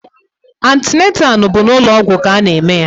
Antịnantal bụ n'ụlọ ọgwụ ka a na-eme ya.